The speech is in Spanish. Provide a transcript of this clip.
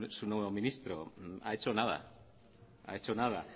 su nuevo ministro ha hecho nada